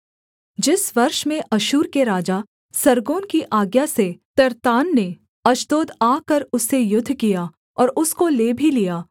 जिस वर्ष में अश्शूर के राजा सर्गोन की आज्ञा से तर्त्तान ने अश्दोद आकर उससे युद्ध किया और उसको ले भी लिया